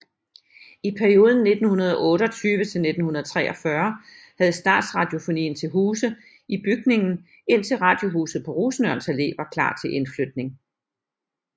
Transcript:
I perioden 1928 til 1943 havde Statsradiofonien til huse i bygningen indtil Radiohuset på Rosenørns Allé var klar til indflytning